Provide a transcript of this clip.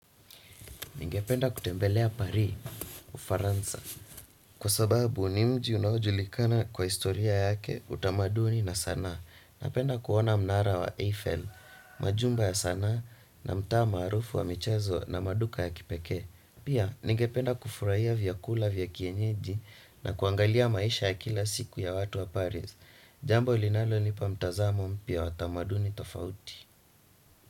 Ningependa kutembelea pari Ufaransa, kwasababu ni mji unaojulikana kwa historia yake, utamaduni na sanaa. Napenda kuona mnara wa Eiffel. Majumba ya sanaa na mtaa maarufu wa michezo na maduka ya kipeke. Pia ningependa kufurahia vyakula vya kienyeji. Na kuangalia maisha ya kila siku ya watu wa Paris Jambo linalonipa mtazamo mpya watamaduni tofauti.